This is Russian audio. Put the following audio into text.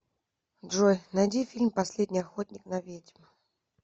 джой найди фильм последний охотник на ведьм